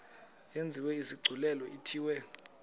yenziwe isigculelo ithiwe